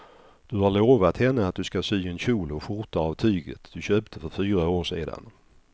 Du har lovat henne att du ska sy en kjol och skjorta av tyget du köpte för fyra år sedan.